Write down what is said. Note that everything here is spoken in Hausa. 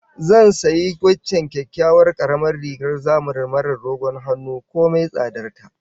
Zan sayi waccan kyakkyawar karamar rigar zamanin marar dogon hannu komai tsadar ta